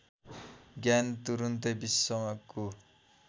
ज्ञान तुरुन्तै विश्वको